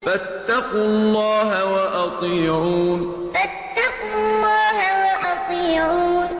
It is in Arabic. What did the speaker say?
فَاتَّقُوا اللَّهَ وَأَطِيعُونِ فَاتَّقُوا اللَّهَ وَأَطِيعُونِ